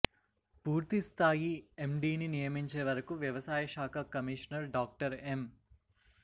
పూర్తిస్థాయి ఎమ్డిని నియమించే వరకు వ్యవసాయ శాఖ కమిషనర్ డాక్టర్ ఎం